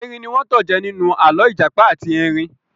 Erin ní wọ́n tanjẹ ninu alọ ìjàpá àti erin.